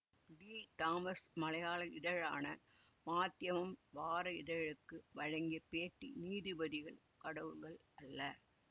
D Thomas மலையாள இதழான மாத்யமம் வார இதழுக்கு வழங்கிய பேட்டி நீதிபதிகள் கடவுள்கள் அல்ல